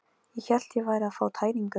Ég hélt ég væri að fá tæringu.